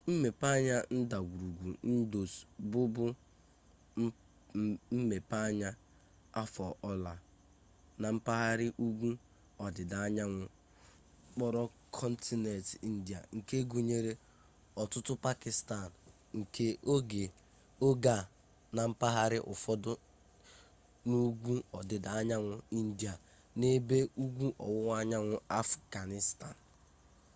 mmepeanya ndagwurugwu indus bụbu mmepeanya afọ ọla na mpaghara ugwu ọdịdaanyanwụ okpuru kọntinent india nke gụnyere ọtụtụ pakistan nke oge a na mpaghara ụfọdụ na ugwu ọdịdaanyanwụ india na n'ebe ugwu ọwụwaanyanwụ afghanistan